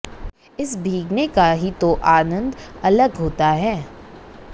इस भीगने का ही तो आनंद अलग होता है